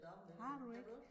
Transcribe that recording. Har du ikke?